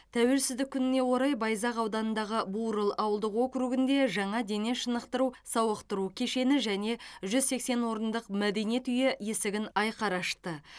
тәуелсіздік күніне орай байзақ ауданындағы бурыл ауылдық округінде жаңа дене шынықтыру сауықтыру кешені және жүз сексен орындық мәдениет үйі есігін айқара ашты